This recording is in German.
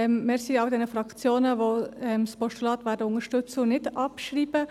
Ich danke allen Fraktionen, die das Postulat unterstützen werden und es nicht abschreiben.